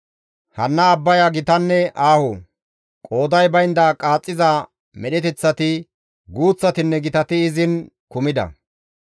Hanna abbaya gitanne aaho; qooday baynda qaaxxiza medheteththati, guuththatinne gitati izin kumida.